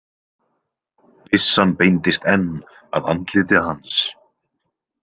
Byssan beindist enn að andliti hans.